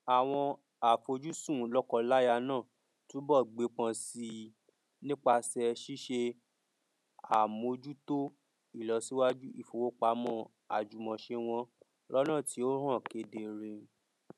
àwọn àfojùsùn lọkọláya náà túnbọ gbépọn sí i nípasẹ ṣíṣe àmójútó ìlọsíwájú ìfowópamọ àjùmọṣe wọn lọnà tí ó hàn kedere